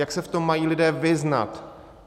Jak se v tom lidé mají vyznat?